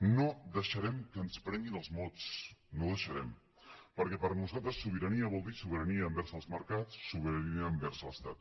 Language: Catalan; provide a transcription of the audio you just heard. no deixarem que ens prenguin els mots no ho deixarem perquè per nosaltres sobirania vol dir sobirania envers els mercats sobirania envers l’estat